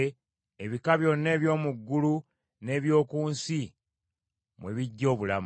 ebika byonna eby’omu ggulu n’eby’oku nsi mwe biggya obulamu.